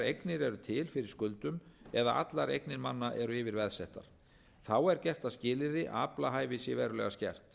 eignir eru til fyrir skuldum eða allar eignir manna eru yfirveðsettar þá er gert að skilyrði að aflahæfi sé verulega skert